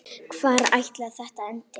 Hvar ætli þetta endi?